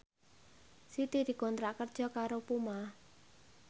Siti dikontrak kerja karo Puma